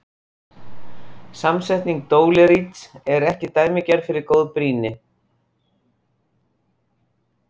Samsetning dóleríts er ekki dæmigerð fyrir góð brýni.